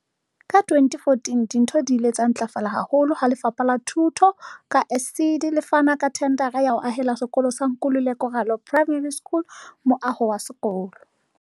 Ka 2014, dintho di ile tsa ntlafala haholo ha Lefapha la Thuto, ka ASIDI, le fana ka thendara ya ho ahela sekolo sa Nkululeko Ralo Primary School moaho wa sekolo.